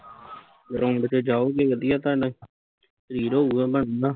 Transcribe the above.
ground ਤੇ ਜਾਓਗੇ ਵਧੀਆ ਤੁਹਾਡਾ ਸਰੀਰ ਹੋਉਗਾ ਬਣਨਾ